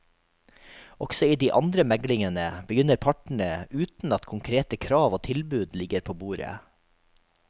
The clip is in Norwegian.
Også i de andre meglingene begynner partene uten at konkrete krav og tilbud ligger på bordet.